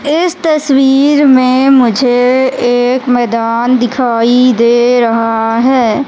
इस तस्वीर में मुझे एक मैदान दिखाई दे रहा है।